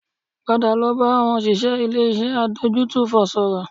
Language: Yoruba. Padà lọ bá àwọn òṣìṣẹ́ ilé-iṣẹ́ adójútòfò sọ̀rọ̀